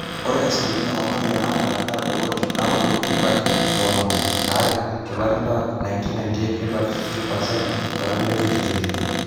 ore asilimia oo ntoyie naamuratitae netadowuo te naaudo nebaiki tomon aare tolari le 1998 nebaiki 15% tolari le 2022